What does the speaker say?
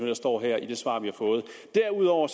der står her i det svar vi har fået derudover